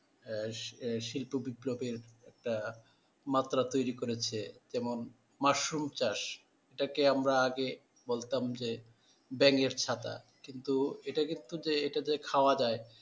আহ শিল্প বিপ্লব এর একটা মাত্রা তৈরি করেছে যেমন মাশরুম চাষ যেটাকে আমরা আগে বলতাম যে ব্যাঙের ছাতা কিন্তু এটা কিন্তু যে এটা যে খাওয়া যায়,